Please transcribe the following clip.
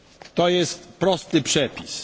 To jest prosty przepis.